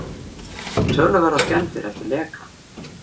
Töluverðar skemmdir eftir leka